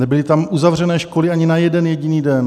Nebyly tam uzavřeny školy ani na jeden jediný den.